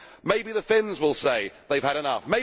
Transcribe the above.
Maybe the Finns will say they have had enough.